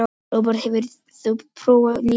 Róberta, hefur þú prófað nýja leikinn?